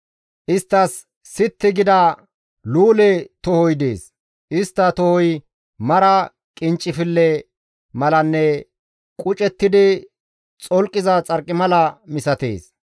Isttas sitti gida luule tohoy dees; istta tohoy mara qinccifille malanne qucettidi xolqiza xarqimala misatees.